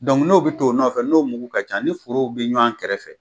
n'o bi t' o nɔfɛ, n'o mugu ka ca ni forow bi ɲɔn kɛrɛfɛ